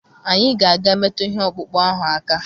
Anyị ga-aga metụ ihe ọkpụkpụ ahụ aka.